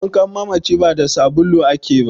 wankan mamaci ba da sbulu ake ba